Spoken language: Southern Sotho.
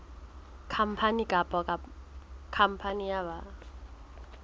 khampani kapa khampani ya ba